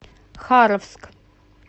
харовск